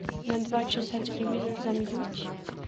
на два часа телевизор замьють